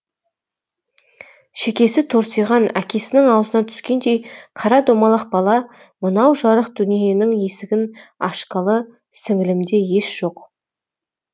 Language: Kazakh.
шекесі торсиған әкесінің аузынан түскендей қара домалақ бала мынау жарық дүниенің есігін ашқалы сіңілімде ес жоқ